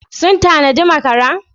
Sun tanadi makara?